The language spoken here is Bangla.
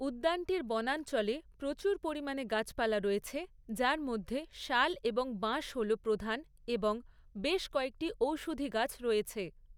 উদ্যানটির বনাঞ্চলে প্রচুর পরিমাণে গাছপালা রয়েছে যার মধ্যে শাল এবং বাঁশ হল প্রধান এবং বেশ কয়েকটি ঔষধি গাছ রয়েছে।